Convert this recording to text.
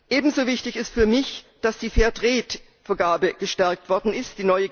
Ebenso wichtig ist für mich, dass die Fair Trade Vergabe gestärkt worden ist.